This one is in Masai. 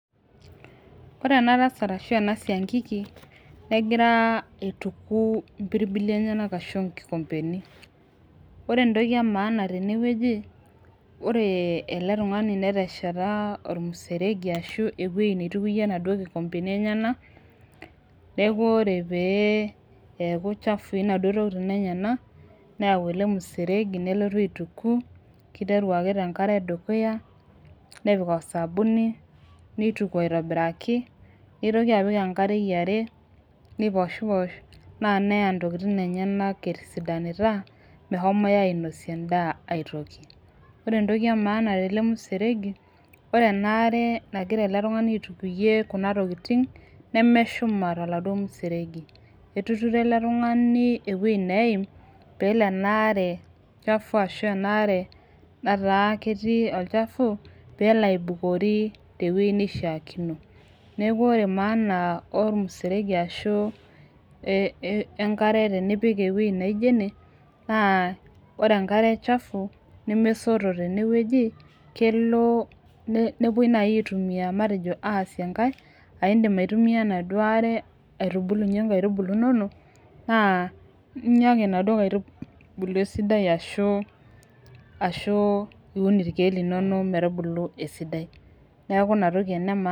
O re ena tasat ashu ena siankiki negira aituku impirbili enyenak arashu inkikombeni ore entoki e maana tenewueji ore ele tung'ani netesheta ormuseregi ashu ewueji neitukuyie inaduo kikombeni enyenak neeku ore pee eeku chafui inaduo tokitin enyenak neyau ele musereji nelotu aituku kiteru ake tenkare edukuya nepik osabuni neituku aitobiraki neitoki apik enkare yiare neiposhiposh naa neya intokitin enyenak etisidanita mehomoi ainoie endaa aitoki ore entoki e maana tele museregi ore ena are nagira ele tung'ani aitukuyie kuna tokiting nemeshuma toladuo museregi etuturo ele tung'ani enaduo wueji neim peelo ena are chafu ashu ena are nataa ketii olchafu peelo aibukori tewueji neishiakino neku ore maana ormuseregi ashu eh enkare tenipik ewueji neijio ene naa ore enkare chafu nemesoto tenewueji kelo ne nepuoi naaji aitumia matejo aasie enkae aindim aitumia enaduo are aitubulunyie inkaitubulu inonok naa inya ake inaduo kaitubulu esidai ashu ashu iun irkeek linono metubulu esidai neku ina toki ene [cs[maana.